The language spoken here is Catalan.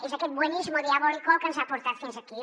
és aquest buenismo diabólico el que ens ha portat fins aquí